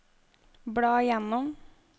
bla gjennom